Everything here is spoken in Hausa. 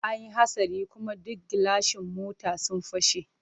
An yi hatsari kuma duk gilashin mota sun fashe.